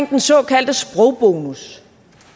den såkaldte sprogbonus